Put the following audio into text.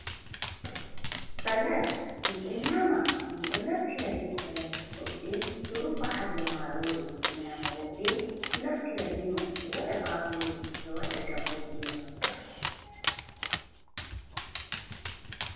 Salat min ɗon nyama min ɗon naftira be salat woɓɓe ɗo rufa hadomarori ɓe nyama, woɓɓe ɗo naftira beman ɓe waɗa bakuru ɓe waɗa dambu beman.